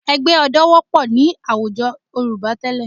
Ẹgbẹ́ ọdẹ wọ́pọ̀ ní àwùjọ Yorùbá tẹ́lẹ̀